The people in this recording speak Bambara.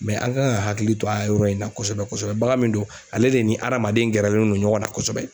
an kan ka hakili to a yɔrɔ in na kosɛbɛ kosɛbɛ baga min don ale de ni adamaden gɛrɛlen do ɲɔgɔn na kosɛbɛ.